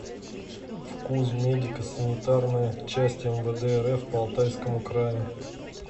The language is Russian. фкуз медико санитарная часть мвд рф по алтайскому краю